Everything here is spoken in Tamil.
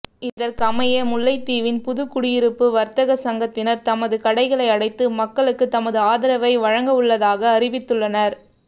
இதற்கமைய முல்லைத்தீவின் புதுக்குடியிருப்பு வர்த்தக சங்கத்தினர் தமது கடைகளை அடைத்து மக்களுக்கு தமது ஆதரவை வழங்கவுள்ளதாக அறிவித்துள்ளனர்